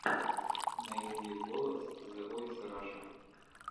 найди голос зэ войс раша